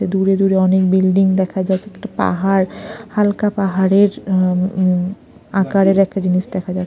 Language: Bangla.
দূরে দূরে অনেক বিল্ডিং দেখা যাচ্ছে একটা পাহাড় হালকা পাহাড়ের উ-উ আকারের একটা জিনিস দেখা যা --